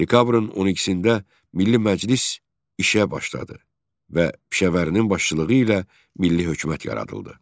Dekabrın 12-də Milli Məclis işə başladı və Pişəvərinin başçılığı ilə Milli Hökumət yaradıldı.